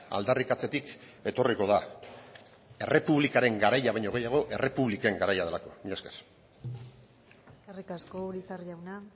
aldarrikatzetik etorriko da errepublikaren garaia baino gehiago errepubliken garaia delako mila esker eskerrik asko urizar jauna